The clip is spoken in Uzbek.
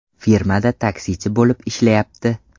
Firmada taksichi bo‘lib ishlayapti.